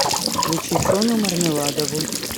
включи соню мармеладову